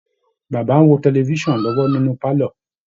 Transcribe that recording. Baba ń wo tẹlifisàn lọ́wọ́ nínú pálọ́